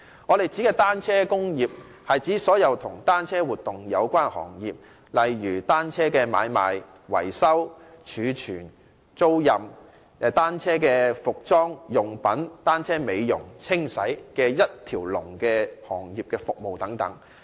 我們指的單車工業，是指所有與單車活動有關的行業，例如單車買賣、維修、儲存、租賃，以及單車服裝、用品、美容、清洗等行業的一條龍服務。